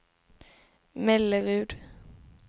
Mellerud